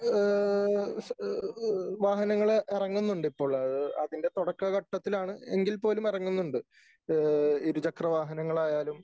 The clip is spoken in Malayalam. ഏ ഏ വാഹനങ്ങള് ഇറങ്ങുന്നുണ്ട് ഇപ്പോൾ . അതിന്റെ തുടക്ക ഘട്ടത്തിലാണ് എങ്കിൽ പോലും ഇറങ്ങുന്നുണ്ട് . ഏ ഇരുചക്ര വാഹനങ്ങൾ ആയാലും